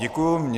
Děkuji.